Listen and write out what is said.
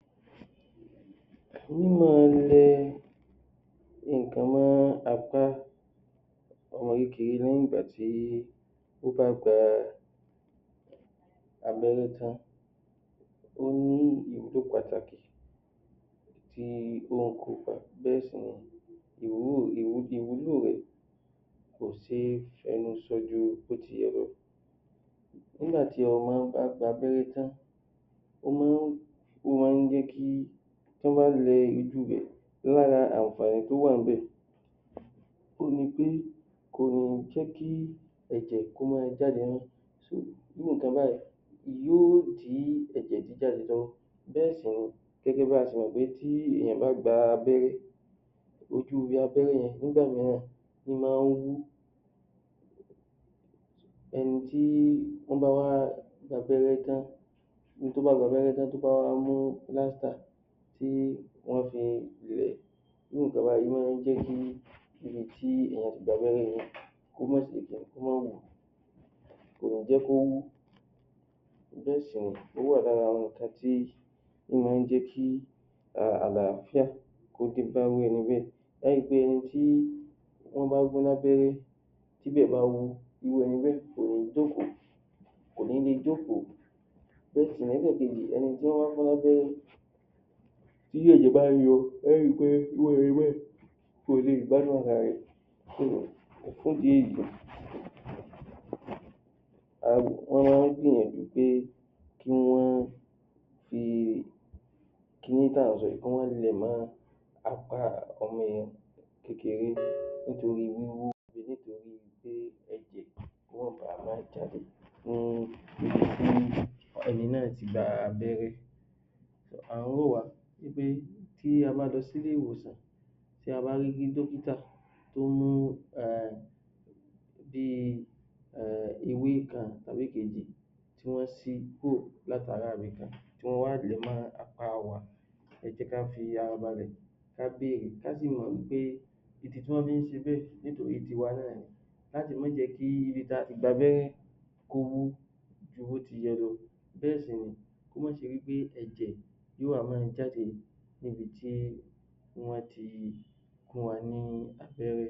mí máa lẹ nǹkan mọ́ apá ọmọ kékeré lẹ́yìn ìgbà tí ó bá gba abẹ́rẹ́ tán ó ní ìwúlò pàtàkì tí ó ń kó pa bẹ́ẹ̀ sì ni ìwúlò rẹ̀ kò ṣe é fẹnu sọ ju bí ó ti yẹ lọ nígbà tí ọmọ bá gba abẹ́rẹ́ tán ó máa ń Ó máa ń jẹ́ kí tí wọ́n bá lẹ ibi ibẹ̀ lára àǹfàní tó wà níbẹ̀ ni pé kò ń jẹ́ kí ẹ̀jẹ̀ kó máa jáde irú nǹkan báyìí yóò dí ẹ̀jẹ̀ jíjáde lọ́wọ́ bẹ́ẹ̀ sì rẹ̀ gẹ́gẹ́ bí a ti mọ̀ pé tí èèyàn bá gba abẹ́rẹ́ ojú ibi abẹ́rẹ́ yẹn nígbà mìíràn ó máa ń wú ẹ̀yìn tí wọ́n bá wá gba abẹ́rẹ́ tán ẹni tó bá gba abẹ́rẹ́ tán tó bá wá mú lighter tí ó wá fi irú nǹkan báyìí máa ń jẹ́ kí kò ní jẹ́ kó ó wà lára àwọn nǹkan tí ó máa ń jẹ́ kí àlááfíà kó dé bá irú ẹni bẹ́ẹ̀ ẹ ó ri pé tí wọ́n bá gun lábẹ́rẹ́ tí ibẹ̀ bá wú irú ẹñi bẹ́ẹ̀ kò ní jókòó kò ní lè jókòó Bẹ́ẹ̀ sì ni lẹ́ẹ̀kejì ẹni tí wọ́n bá gún lábẹ́rẹ́ tí ẹ̀jẹ̀ bá ń yọ ẹ ó ri pé irú ẹni bẹ́ẹ̀ kò lè gbádùn ara rẹ̀ so, fún ìdí èyí um wọ́n máa ń gbìyànjú pé kí wọ́n fi kiní tí à ń sọ yìí kí wọ́n lẹ̀ẹ́ mọ́ apá ọmọ yẹn kékeré nítorí wúwú kó má baa à ma jáde ní ibi tí ẹni náà ti gba abẹ́rẹ́ à ń rọ̀ wá wí pé tí a bá lọ sí ilé ìwòsàn tí a bá rí dọ́kítà tó ní tí wọ́n wá lẹ̀ẹ́ mọ́ apá wa ẹ jẹ́ ká fi ara balẹ̀ ká sì mọ̀ wí pé ìdí tí wọ́n fi ń ṣe bẹ́ẹ̀ nítorí tiwa náà ni láti má jẹ kí ibi tí a ti gba abẹ́rẹ́ kó wú ju bó ti yẹ lọ bẹ́ẹ̀ sì ní kó má ṣe wí pé ẹ̀jẹ̀ yóò wá máa jáde níbi tí wọ́n ti fún wa ní abẹ́rẹ́